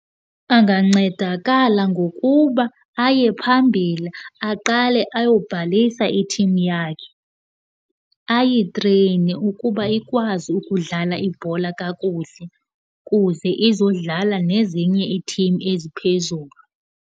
Angancedakala ngokuba aye phambili aqale ayobhalisa ithimu yakhe. Ayitreyine ukuba ikwazi ukudlala ibhola kakuhle kuze izodlala nezinye iithimu eziphezulu.